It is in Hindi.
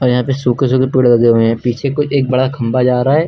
यहां पे सूखे सूखे पेड़ लगे हुए है पीछे कोई एक बड़ा खंबा जा रहा है।